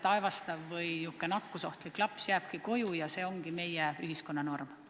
Kas ei võiks olla nii, et aevastav või nakkusohtlik laps jääbki koju ja see ongi meie ühiskonnas norm?